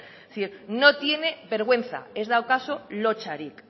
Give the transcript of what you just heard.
es decir no tiene vergüenza ez daukazu lotsarik